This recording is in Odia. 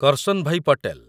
କର୍ସନଭାଇ ପଟେଲ